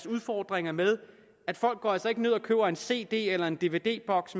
udfordringer med at folk altså ikke ned og køber en cd eller en dvd boks